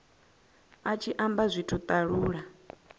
a tshi amba zwithu talula